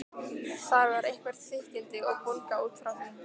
Þar var eitthvert þykkildi og bólga út frá því.